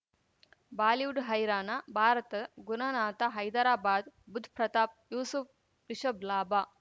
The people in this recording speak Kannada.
ಬಾಲಿವುಡ್ ಹೈರಾನ ಭಾರತ ಗುನನಾಥ್ ಹೈದರಾಬಾದ್ ಬುಧ್ ಪ್ರತಾಪ್ ಯೂಸುಫ್ ರಿಷಬ್ ಲಾಭ